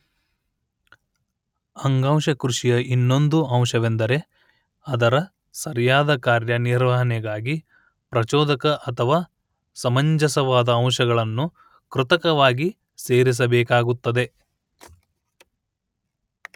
ಅಂಗಾಂಶ ಕೃಷಿಯ ಇನ್ನೊಂದು ಅಂಶವೆಂದರೆ ಅದರ ಸರಿಯಾದ ಕಾರ್ಯ ನಿರ್ವಹಣೆಗಾಗಿ ಪ್ರಚೋದಕ ಅಥವಾ ಸಮಂಜಸವಾದ ಅಂಶಗಳನ್ನು ಕೃತಕವಾಗಿ ಸೇರಿಸಬೇಕಾಗುತ್ತದೆ